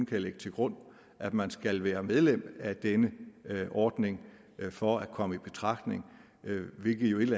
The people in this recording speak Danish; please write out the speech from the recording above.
kan lægge til grund at man skal være medlem af denne ordning for at komme i betragtning hvilket jo et